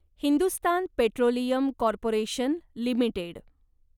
Hindustan Petroleum Corporation limited